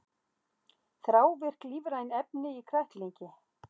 Þrávirk lífræn efni í kræklingi